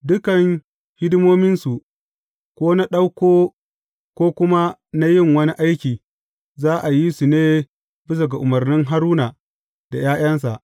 Dukan hidimominsu, ko na ɗauko, ko kuma na yin wani aiki, za a yi su ne bisa ga umarnin Haruna da ’ya’yansa.